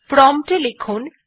prompt এ লিখুন